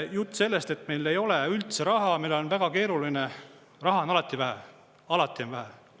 Jutt sellest, et meil ei ole üldse raha, meil on väga keeruline – raha on alati vähe, alati on vähe.